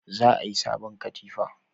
Za a yi sabon katifa